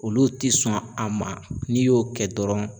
Olu ti sɔn a ma n'i y'o kɛ dɔrɔn